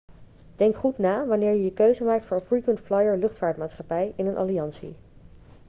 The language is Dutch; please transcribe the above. denk goed na wanneer je je keuze maakt voor een frequent flyer-luchtvaartmaatschappij in een alliantie